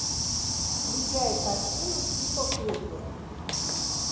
включай картину типа оперы